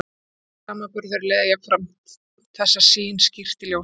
Alþjóðlegur samanburður leiðir jafnframt þessa sýn skýrt í ljós.